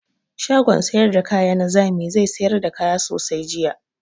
Shagon sayar da kaya na zami zai sayar da kaya sosai jiya.